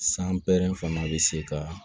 San pɛrɛn fana be se ka